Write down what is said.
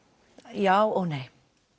já og nei